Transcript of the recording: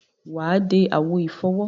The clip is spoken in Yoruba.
Wà á de àwo ìfọwọ́.